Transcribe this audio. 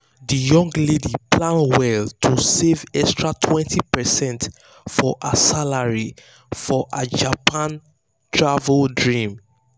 the young lady plan well to save extra 20 percent from her salary for her japan travel dream.